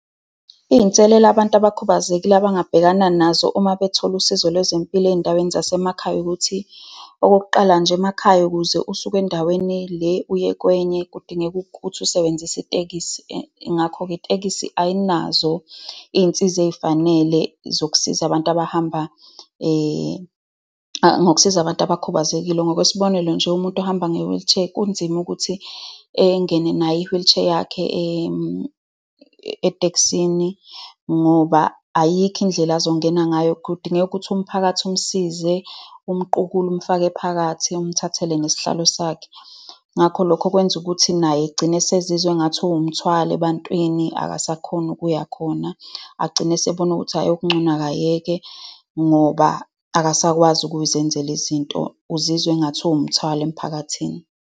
Iy'nselelo abantu abakhubazekile abangabhekana nazo uma bethole usizo lwezempilo ey'indaweni zasemakhaya, ukuthi okokuqala nje, emakhaya, ukuze usuke endaweni le, uye kwenye, kudingeka ukuthi usebenzise itekisi. Ngakho-ke, itekisi ayinazo iy'nsiza ey'fanele zokusiza abantu abahamba zokusiza abantu abakhubazekile. Ngokwesibonelo nje, umuntu ohamba nge-wheelchair kunzima ukuthi engene nayo i-wheelchair yakhe etekisini ngoba ayikho indlela azongena ngayo. Kudingeka ukuthi umphakathi umsize, umqukule, umfake phakathi, umthathele ngesihlalo sakhe. Ngakho lokho kwenza ukuthi naye egcine esizizwa engathi uwumthwalo ebantwini. Akasakhoni ukuya khona. Agcine esebona ukuthi hhayi okungcono akayeke ngoba akasakwazi ukuzenzela izinto. Uzizwa engathi uwumthwalo emphakathini.